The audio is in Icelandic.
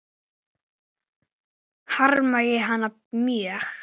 Harma ég hana mjög.